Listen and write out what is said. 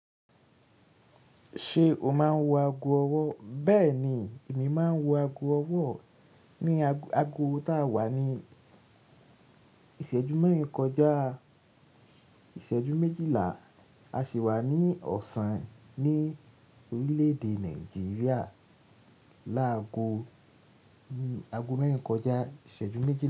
Ṣé o máa ń wo ago ọwọ́? Bẹ́ẹ̀ ni, èmi máa ń wo ago ọwọ́. Ni ago ta wà ní ìṣẹ́jú mẹ́rin kọjá ìṣẹ́jú méjìlá. A sì wà ní ọ̀sán ní orílè-èdè Nàìjíríà láago, ago mẹ́rin kọjá ìṣẹ́jú méjìlá.